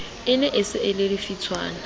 e ne e se lefitshwana